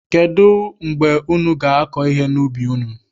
Kedụ mgbe unu ga-akọ ihe n'ubi unu?